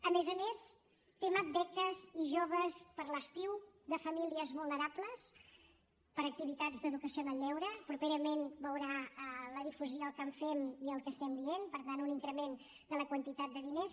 a més a més tema beques i joves per a l’estiu de famílies vulnerables per a activitats d’educació en el lleure properament veurà la difusió que en fem i el que estem dient per tant un increment de la quantitat de diners